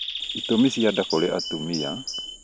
ĩtũmi cia nda kũrĩ atumia